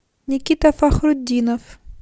никита фахрутдинов